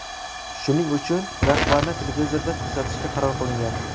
Shuning uchun rahbarni televizorda ko‘rsatishga qaror qilingan.